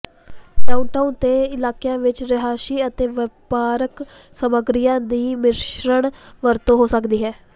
downtown ਦੇ ਇਲਾਕਿਆਂ ਵਿਚ ਰਿਹਾਇਸ਼ੀ ਅਤੇ ਵਪਾਰਕ ਸਰਗਰਮੀਆਂ ਦੀ ਮਿਸ਼ਰਣ ਵਰਤੋਂ ਹੋ ਸਕਦੀ ਹੈ